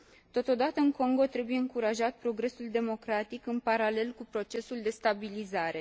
Totodată, în Congo trebuie încurajat progresul democratic, în paralel cu procesul de stabilizare.